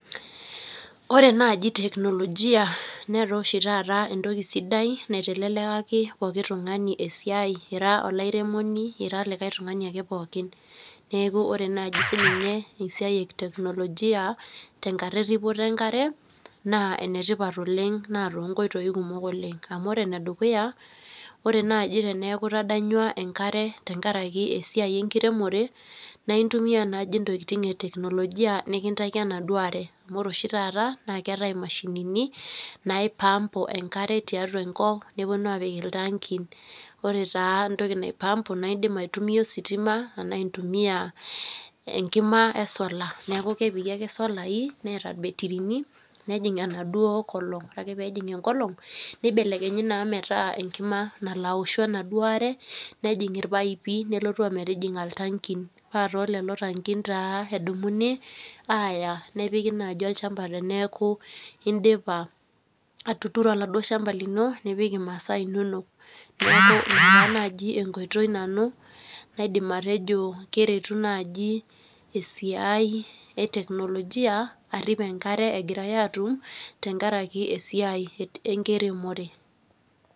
Ore naaji teknolojia netaa oshi taata enatoki siadai naitelekaki pooki tungani esiai ,ira oliaremoni ira likae tungani pookin ,neeku ore ninye naaji esiai eteknolojia tenkata eripoto enkare ,naa enetipat oleng naa toonkoitoi kumok .Ore enedukuya ore naaji teneeku itadanywa enkare tenkaraki esiai enkiremore na intumiya naaji ntokiting eteknolojia nikintaiki enduo are ,amu ore ashu taata naa keetae mashinini naipampu enkare tiatua enkop neponu apik iltankin ,ore tee entoki naipampu naa indim aitumia ositima ashu enkima esola ,neeku kepiki ake enaduo sola neeta irbetirini nejing enaduo kolong. Ore ake pee ejing enkolong neibelekenye naa metaa enkima nalo aoshu enaduo are nejing irpaipi nelotu ometijinga iltankin .Paa toolelo takin edumuni aya nepiki naaji olchampa teneeku indipa atuturo oladuo shampa lino nipik inasaa inonok. Neeku ina enkoitoi naaji nanu naidim atejo keretu naaji esiai eteknolojia arip enkare Egirae atum tenkaraki esiai enkiremore.